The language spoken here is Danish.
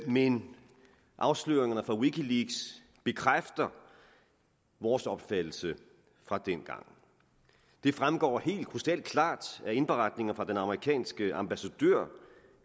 men afsløringerne fra wikileaks bekræfter vores opfattelse fra dengang det fremgår helt krystalklart af indberetninger fra den amerikanske ambassadør